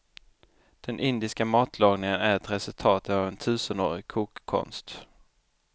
Den indiska matlagningen är ett resultat av en tusenårig kokkonst.